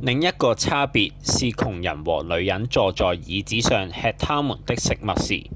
另一個差別是窮人和女人坐在椅子上吃他們的食物時